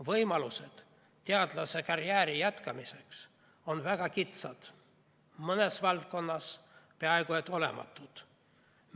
Võimalused teadlasekarjääri jätkamiseks on väga kitsad, mõnes valdkonnas peaaegu olematud.